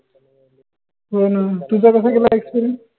होन तुझा कसा गेला experience?